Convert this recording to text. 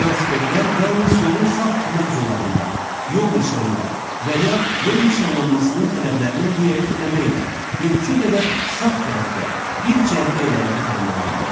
Velosipedlər yalnız yolun sağ kənar zolağında, yol nişanları və ya yol nişanlanmasının tələblərinə riayət eləməklə mümkün qədər sağ tərəfdə bir cərgə ilə hərəkət eləməlidirlər.